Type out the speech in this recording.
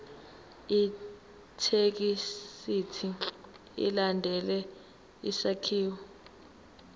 ithekisthi ilandele isakhiwo